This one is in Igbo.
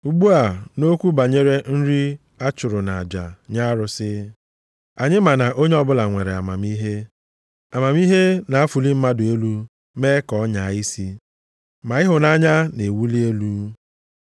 Ugbu a, nʼokwu banyere nri a chụrụ nʼaja nye arụsị, anyị ma na onye ọbụla nwere amamihe. Amamihe na-afụli mmadụ elu mee ka ọ nyaa isi. Ma ịhụnanya na-ewuli elu.